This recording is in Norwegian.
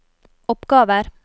oppgaver